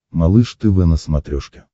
малыш тв на смотрешке